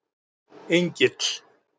Engill